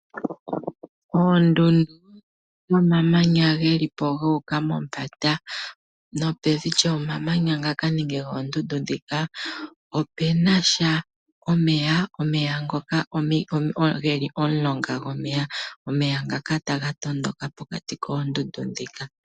Omamanya ga uka mombanda no pevi gomamanya ngaka nenge goondundu dhika ope na sha omeya. Omeya ngoka geli momulonga gomeya, omeya ngaka taga tondoka pokati koondundu dhika.